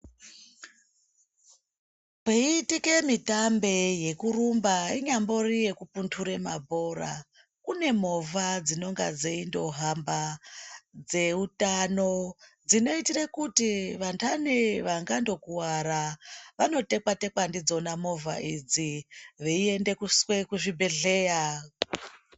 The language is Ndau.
Peiitika mitambe yekurumba inyambori yekubundure mabhora kune movha dzinonga dzeitohamba dzeutano dzinoitira kuti vandani vangandokuwara vanotekwa tekwa ndidzona movha adzi veiendeswa kuzvibhedhlera.